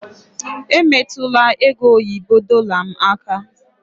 Emetụla ego oyibo dorlar m aka!